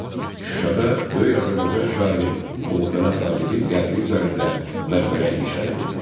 Şuşada böyük Azərbaycan şairi Molla Pənah Vaqifin qəbri üzərində məqbərə inşa edildi.